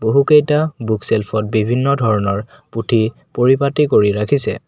বহুকেইটা book shelf বিভিন্ন ধৰণৰ পুথি পৰিপাটি কৰি ৰাখিছে।